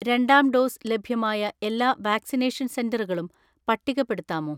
രണ്ടാം ഡോസ് ലഭ്യമായ എല്ലാ വാക്സിനേഷൻ സെന്ററുകളും പട്ടികപ്പെടുത്താമോ?